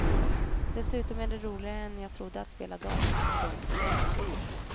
Dessutom är det roligare än jag trodde att spela dam. punkt